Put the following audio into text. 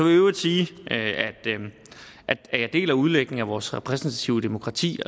i øvrigt sige at jeg deler udlægningen af vores repræsentative demokrati